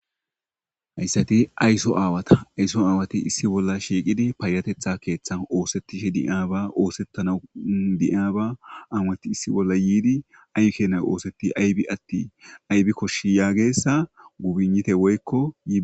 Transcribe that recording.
Hayssati ayso aawata ayso aawati issi bolla shiiqidi paayatetha keeththan oosettishe di'aaba oosettana diaaba awati issi bolla yiidi ayke na oosetti aybi atti aybi koshshi yaagessa gubinite woykkoyii.